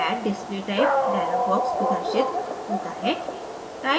add display type dialog box प्रदर्शित होता है